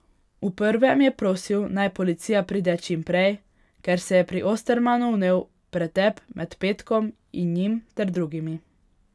V prvem je prosil, naj policija pride čim prej, ker se je pri Ostermanu vnel pretep med Petkom in njim ter drugimi.